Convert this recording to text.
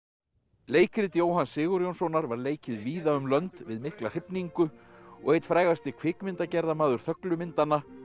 leikrit Jóhanns Sigurjónssonar var leikið víða um lönd við mikla hrifningu og einn frægasti kvikmyndagerðarmaður þöglu myndanna